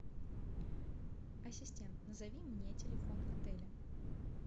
ассистент назови мне телефон отеля